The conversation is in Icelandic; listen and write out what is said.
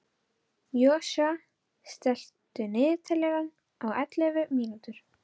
Joshua, stilltu niðurteljara á ellefu mínútur.